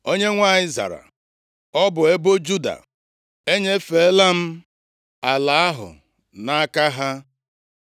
Onyenwe anyị zara, “Ọ bụ ebo Juda. Enyefeela m ala ahụ nʼaka ha.”